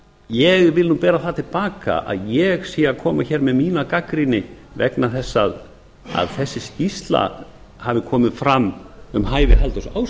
ég vil bera það til baka að ég sé að koma með mína gagnrýni vegna þess að þessi skýrsla hafi komið fram um hæfi halldórs